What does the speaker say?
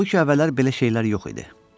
Halbuki əvvəllər belə şeylər yox idi.